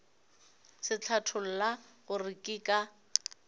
se hlatholla gore ke ka